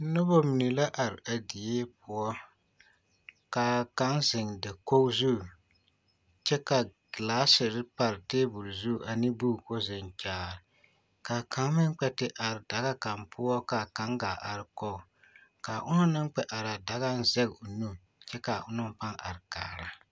Noba mine la are a die poɔ k'a kaŋ zeŋ dakogi zu kyɛ ka gilaasiri pare teebol zu ane boki k'o zeŋ kyaare ka kaŋ meŋ kpɛ te are daga kaŋ poɔ ka kaŋ gaa are kɔge k'a onaŋ kpɛ araa dagaŋ zɛge o nu kyɛ k'a onaŋ pãã are kaara.